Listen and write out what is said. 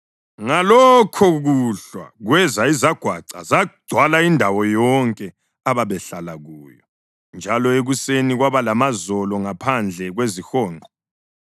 Ngalokhokuhlwa kweza izagwaca zagcwala indawo yonke ababehlala kuyo, njalo ekuseni kwaba lamazolo ngaphandle kwezihonqo.